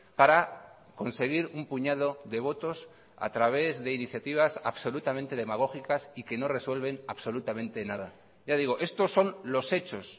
para conseguir un puñado de votos a través de iniciativas absolutamente demagógicas y que no resuelven absolutamente nada ya digo estos son los hechos